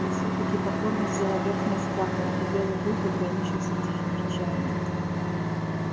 и все таки покорность взяла верх над страхом и белый клык ограничился тихим рычанием